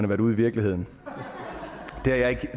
været ude i virkeligheden